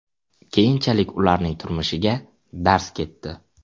Keyinchalik ularning turmushiga darz ketdi.